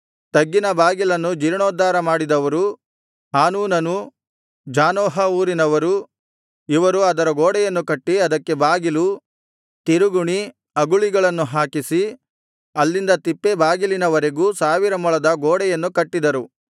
ತಗ್ಗಿನ ಬಾಗಿಲನ್ನು ಜೀರ್ಣೋದ್ಧಾರ ಮಾಡಿದವರು ಹಾನೂನನೂ ಜಾನೋಹ ಊರಿನವರು ಇವರು ಅದರ ಗೋಡೆಯನ್ನು ಕಟ್ಟಿ ಅದಕ್ಕೆ ಬಾಗಿಲು ತಿರುಗುಣಿ ಅಗುಳಿಗಳನ್ನು ಹಾಕಿಸಿ ಅಲ್ಲಿಂದ ತಿಪ್ಪೆ ಬಾಗಿಲಿನವರೆಗೂ ಸಾವಿರ ಮೊಳದ ಗೋಡೆಯನ್ನು ಕಟ್ಟಿದರು